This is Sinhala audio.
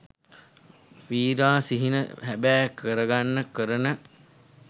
වීරා සිහින හැබෑ කරගන්න කරන